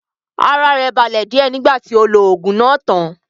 Ara rẹ̀ balẹ̀ díẹ̀ nígbà tí ó lo oògùn náà tán